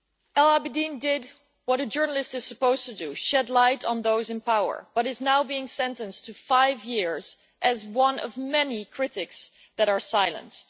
Al Abidine did what a journalist is supposed to do shed light on those in power but is now being sentenced to five years as one of many critics that are silenced.